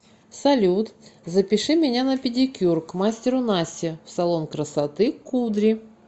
салют запиши меня на педикюр к мастеру насте в салон красоты кудри